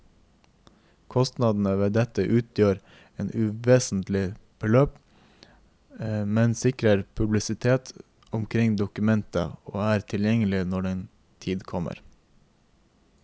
Kostnadene ved dette utgjør et uvesentlig beløp, men sikrer publisitet omkring dokumentet og er tilgjengelig når den tid kommer.